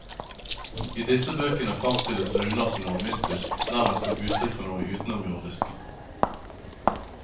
I disse bøkene framstilles runer som noe mystisk, nærmest som uttrykk for noe utenomjordisk.